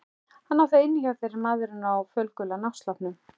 Hann á það inni hjá þér maðurinn á fölgula náttsloppnum.